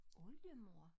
Oldemor